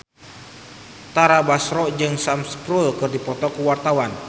Tara Basro jeung Sam Spruell keur dipoto ku wartawan